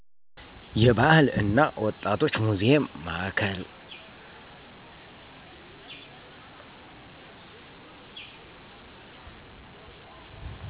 የባህል እና ወጣቶች ሙዜም ማዕከል